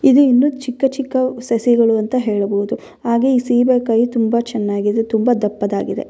ಇದು ಇನ್ನು ಚಿಕ್ಕ ಚಿಕ್ಕ ಸಸಿಗಳು ಅಂತ ಹೇಳಬಹುದು ಹಾಗೆ ಈ ಸೀಬೆಕಾಯಿ ತುಂಬ ಚೆನ್ನಾಗಿ ಇದೆ ತುಂಬ ದಪ್ಪದ್ದಾಗಿದೆ.